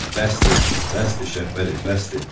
Bəsdir, bəsdir Şəhbəli, bəsdir.